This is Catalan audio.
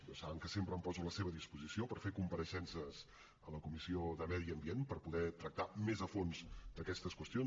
però saben que sempre em poso a la seva disposició per fer compareixences a la comissió de medi ambient per poder tractar més a fons d’aquestes qüestions